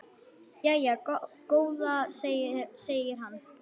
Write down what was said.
Jæja góða, segir hann.